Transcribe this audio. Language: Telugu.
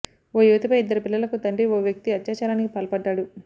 ఓ యువతిపై ఇద్దరు పిల్లలకు తండ్రి ఓ వ్యక్తి అత్యాచారానికి పాల్పడ్డాడు